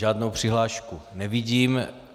Žádnou přihlášku nevidím.